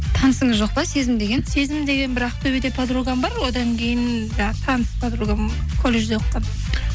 танысыңыз жоқ па сезім деген сезім деген бір ақтөбеде подругам бар одан кейін таныс подругам колледжде оқыған